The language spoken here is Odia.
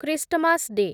Christmas day